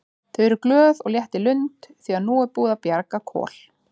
Þau eru glöð og létt í lund því að nú er búið að bjarga Kol.